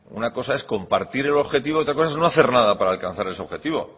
una cosa es compartir el objetivo y otra cosa es no hacer nada para alcanzar ese objetivo